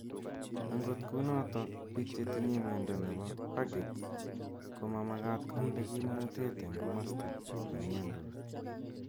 Angot kunotok biik chetinye miondo nepo pagets koma magaat konde kimnateet eng komaste nemnyondos.